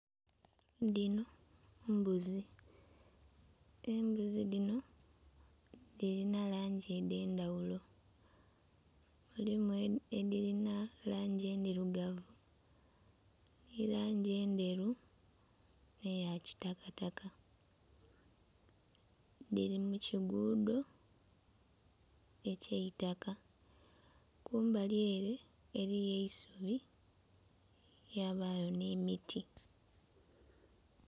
Dhino mbuzi, embuzi dhino dhilina langi edh'endhaghulo. Mulimu edhilina langi endhirugavu, nhi langi endheru nh'eya kitakataka. Dhili mu kiguudo eky'eitaka, kumbali ele eliyo eisubi, yabaayo nh'emiti.